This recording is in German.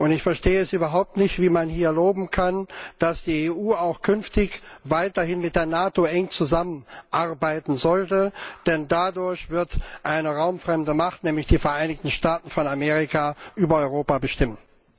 Ich verstehe es überhaupt nicht, wie man hier fordern kann, dass die EU auch künftig weiterhin mit der NATO eng zusammenarbeiten sollte, denn dadurch wird eine raumfremde Macht, nämlich die Vereinigten Staaten von Amerika, über Europa bestimmen.